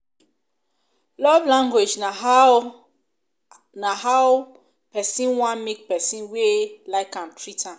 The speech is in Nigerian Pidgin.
love language na how na how pesin want make pesin wey like am treat am